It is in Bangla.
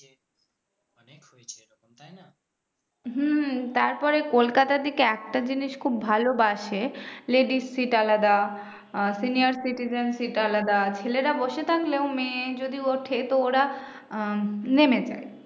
হম তারপরে কোলকাতার দিকে একটা জিনিস খুব ভালো bus এ ladies seat আলাদা senior citizen seat আলাদা ছেলেরা বসে থাকলেও মেয়ে যদি ওঠে তো ওরা উম নেমে যায়